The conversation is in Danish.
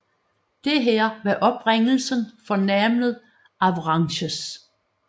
Dette var oprindelsen for navnet Avranches